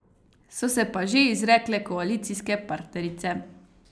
So se pa že izrekle koalicijske partnerice.